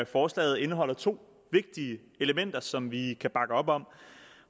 forslaget indeholder to vigtige elementer som vi kan bakke op om